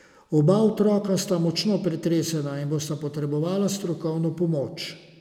Oba otroka sta močno pretresena in bosta potrebovala strokovno pomoč.